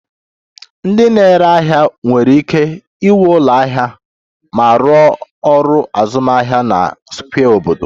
Ndị na-ere ahịa nwere ike ịnwe ụlọ ahịa ma rụọ ọrụ azụmahịa na square obodo